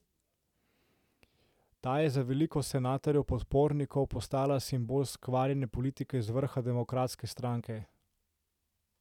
Ta je za veliko senatorjevih podpornikov postala simbol skvarjene politike v vrhu demokratske stranke.